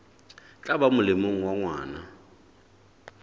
tla ba molemong wa ngwana